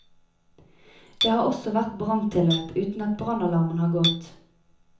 Det har også vært branntilløp uten at brannalarmen har gått.